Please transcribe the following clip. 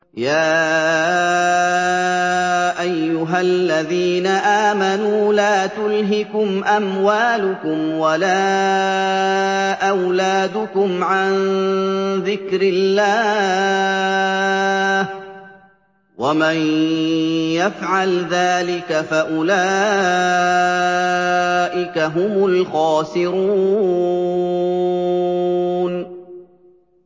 يَا أَيُّهَا الَّذِينَ آمَنُوا لَا تُلْهِكُمْ أَمْوَالُكُمْ وَلَا أَوْلَادُكُمْ عَن ذِكْرِ اللَّهِ ۚ وَمَن يَفْعَلْ ذَٰلِكَ فَأُولَٰئِكَ هُمُ الْخَاسِرُونَ